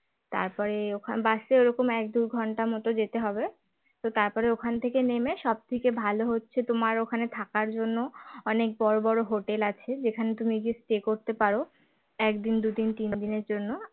তারপরে ওখান বাসে ওরকম এক দু ঘণ্টা মতো যেতে হবে তো তারপরে ওখান থেকে নেমে সবথেকে ভাল হচ্ছে তোমার ওখানে থাকার জন্য অনেক বড় বড় hotel আছে যেখানে তুমি গিয়ে stay করতে পারো একদিন দুদিন তিন দিনের জন্য